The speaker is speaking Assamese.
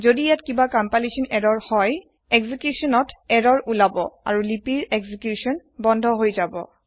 যদি ইয়াত কিবা কম্পালেসন এৰৰৰ হয় এক্সিকুইচনত এৰৰৰ উলাব আৰু লিপিৰ এক্সিকুইচন বন্ধ হয় যাব